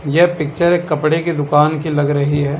यह पिक्चर एक कपड़े की दुकान की लग रही है।